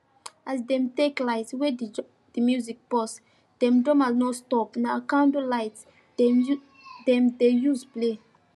as them take light wey the music pause them drummers no stop na candle light them dey use play